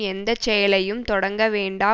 எந்த செயலையும் தொடங்க வேண்டா